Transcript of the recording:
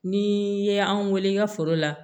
Ni i ye anw weele i ka foro la